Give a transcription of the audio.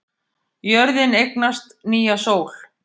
Jörðin eignast nýja sól